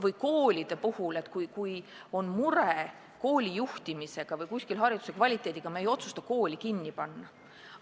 Või koolide puhul – kui on mure kooli juhtimisega või seal pakutava hariduse kvaliteediga, siis me ei otsusta kooli kinni panna.